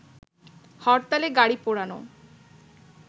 হরতালে গাড়ি পোড়ানো